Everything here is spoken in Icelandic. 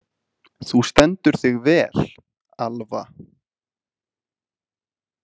Þú stendur þig vel, Alva!